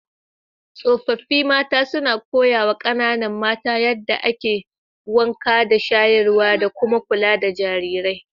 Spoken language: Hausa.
Tsofaffi mata suna koyawa kananan mata yadda ake wanka da shayarwa, da kuma kula da jarirai.